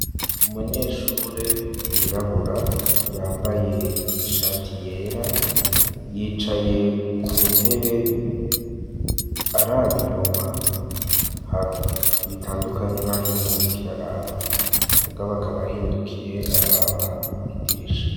Umunyeshure yirabura, yambaye ishati yera, yicaye ku ntebe araba inyuma, bitandukanye n'aho intebe iriko iraraba; mugabo akaba ahindukiye araba idirisha.